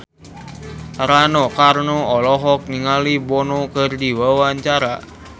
Rano Karno olohok ningali Bono keur diwawancara